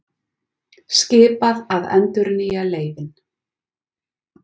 Skipað að endurnýja leyfin